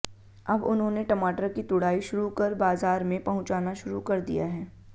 अब उन्होंने टमाटर की तुड़ाई शुरू कर बाजार में पहुंचाना शुरू कर दिया है